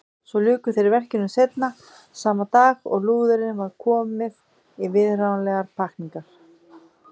Svo luku þeir verkinu seinna sama dag og lúðunni var komið í viðráðanlegar pakkningar.